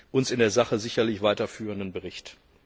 uns in der Sache sicherlich weiterführenden Bericht.